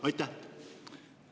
Aitäh!